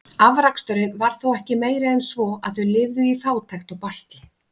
Afraksturinn var þó ekki meiri en svo, að þau lifðu í fátækt og basli.